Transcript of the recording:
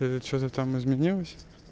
и что-то там изменилось